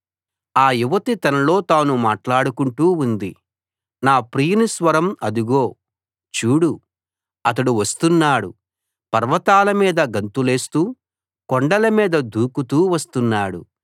[రెండవ భాగం] ఆ యువతి తనలో తాను మాట్లాడుకుంటూ ఉంది నా ప్రియుని స్వరం అదుగో చూడు అతడు వస్తున్నాడు పర్వతాల మీద గంతులేస్తూ కొండల మీద దూకుతూ వస్తున్నాడు